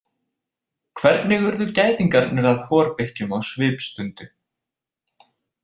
Hvernig urðu gæðingarnir að horbikkjum á svipstundu?